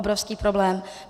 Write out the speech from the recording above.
Obrovský problém.